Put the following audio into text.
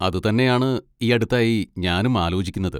അത് തന്നെയാണ് ഈയടുത്തായി ഞാനും ആലോചിക്കുന്നത്.